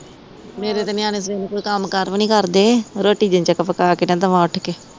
ਮੇਰੇ ਤੇ ਨਿਆਣੇ ਕੰਮ ਕਾਰ ਵੀ ਨੀ ਕਰਦੇ ਰੋਟੀ ਜਿੰਨੇ ਤੱਕ ਪਕਾ ਕ ਨਾ ਦਵਾ ਉੱਠ ਕ